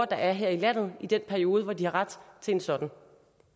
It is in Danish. der er her i landet i den periode hvor de har ret til en sådan